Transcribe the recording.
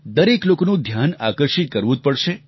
દરેક લોકોનું ધ્યાન આકર્ષિત કરવું જ પડશે